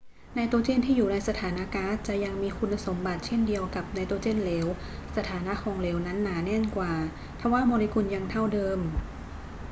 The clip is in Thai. ไนโตรเจนที่อยู่ในสถานะก๊าซจะยังมีคุณสมบัติเช่นเดียวกับไนโตรเจนเหลว สถานะของเหลวนั้นหนาแน่นกว่าทว่าโมเลกุลยังเท่าเดิม